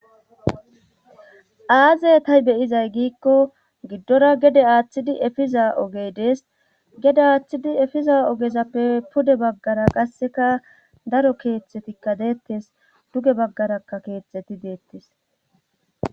Aazey tay beyizay giikko giddora gede aaththidi efiza ogey dees gede aaththidi efiza ogezappe pude baggara qasseka daro keeththetikka deettes duge baggarakka keetxeti deettes